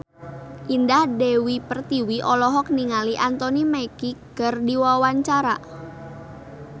Indah Dewi Pertiwi olohok ningali Anthony Mackie keur diwawancara